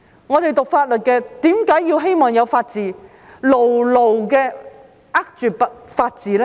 我們唸法律的人為何希望有法治，並要牢牢地握住法治呢？